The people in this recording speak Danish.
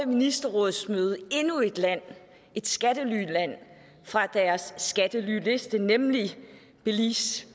ministerrådsmøde endnu et land et skattelyland fra deres skattelyliste nemlig belize